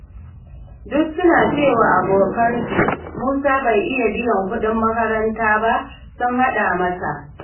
Da suka cewa abokinsu Musa bai iya biyan kuɗin makaranta ba sun haɗa masa.